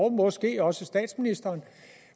og måske også statsministeren